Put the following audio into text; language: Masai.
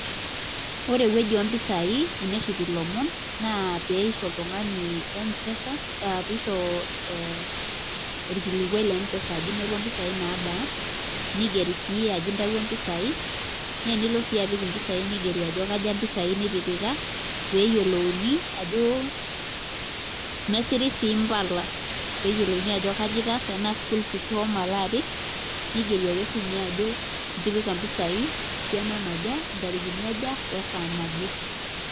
Ore ewueji ompisai tenerip ilomon na peisho oltungani mpesa orkilikuai lempesa ajo inoto mpisai naabaa nigeri si ajo inoto mpisai na enilo si apik mpisai nigeri ajo kaja mpisai nitipika peyiolouni ajo nesiri si mpala peyiolouni ajo kaja itaasa tanaa school fees ishomo alo apik nigeri si ajo itipika mpisai esiana naja ntarikini aja we saa naje.